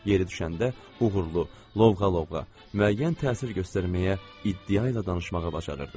Yeri düşəndə uğurlu, lovğa-lovğa müəyyən təsir göstərməyə, iddia ilə danışmağa bacarırdı.